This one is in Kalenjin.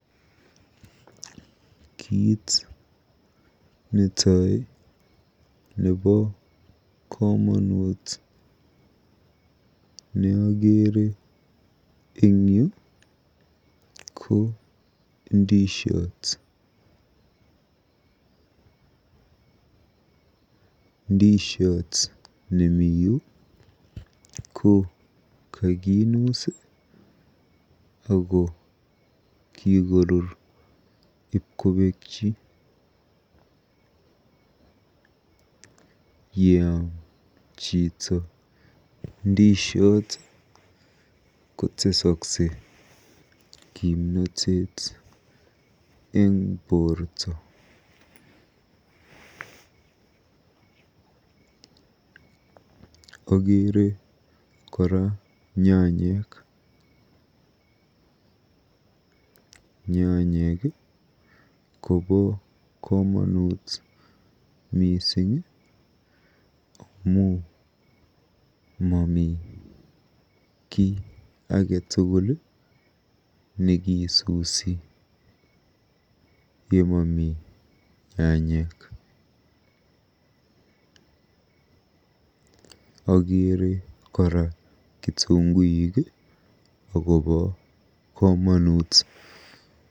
Kit netai nebo komonut neakeere eng yu ko indisiot. Ndisiot nemiyu kokakinuus ako kikorur ibkobekyi. Yeam chito ndisiot kotesoksei kimnoteet eng borto. Akeere kora nyanyek. Nyanyek kobo komonut mising amu mami kiy age tugul nekiisusi yemami nyanyek. Okeere kora kitunguik akobo komonut.